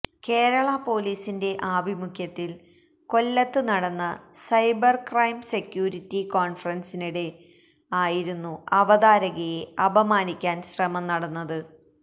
കേരള പൊലീസിന്റെ ആഭിമുഖ്യത്തില് കൊല്ലത്ത് നടന്ന സൈബര് ക്രൈം സെക്യൂരിറ്റി കോണ്ഫറന്സിനിടെ ആയിരുന്നു അവതാരകയെ അപമാനിക്കാന് ശ്രമം നടന്നത്